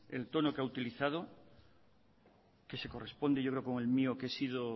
el tono que ha utilizado que se corresponde yo creo con el mío que he sido